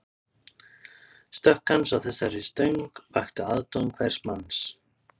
Stökk hans á þessari stöng vöktu aðdáun hvers manns